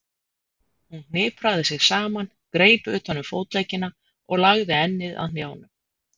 Hún hnipraði sig saman, greip utan um fótleggina og lagði ennið að hnjánum.